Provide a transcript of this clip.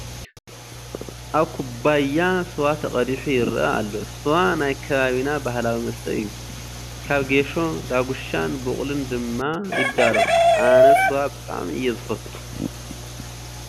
ኣብ ኩባያ ስዋ ተቐዲሑ ይርአ ኣሎ፡፡ ስዋ ናይ ከባቢና ባህላዊ መስተ እዩ፡፡ ካብ ጌሾ፣ ዳጉሻን ቡቕልን ድማ ይዳሎ፡፡ ኣነ ስዋ ብጣዕሚ እየ ዝፈቱ፡፡